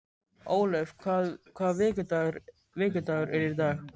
Ólöf, hvaða vikudagur er í dag?